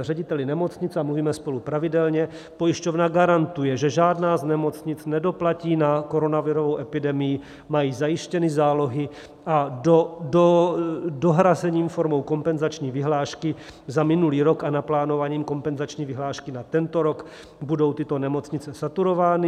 řediteli nemocnic - a mluvíme spolu pravidelně - pojišťovna garantuje, že žádná z nemocnic nedoplatí na koronavirovou epidemii, mají zajištěny zálohy a dohrazením formou kompenzační vyhlášky za minulý rok a naplánováním kompenzační vyhlášky na tento rok budou tyto nemocnice saturovány.